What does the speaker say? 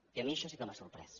i a mi això sí que m’ha sorprès